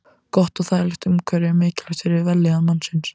Gott og þægilegt umhverfi er mikilvægt fyrir vellíðan mannsins.